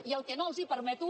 i el que no els permeto